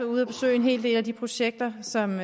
ude at besøge en hel del af de projekter som